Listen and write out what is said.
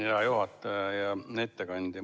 Hea juhataja ja ettekandja!